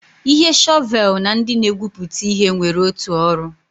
Ihe shọvel na ndị na-egwupụta ihe nwere otu ọrụ.